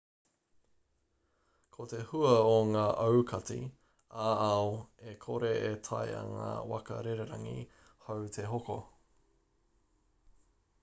ko te hua o ngā aukati ā-ao e kore e taea ngā waka rererangi hou te hoko